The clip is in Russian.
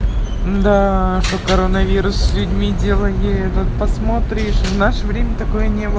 да тут коронавирус с людьми делает этот посмотришь в наше время такое